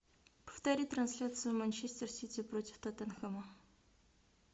повтори трансляцию манчестер сити против тоттенхэма